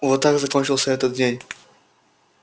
вот так закончился этот день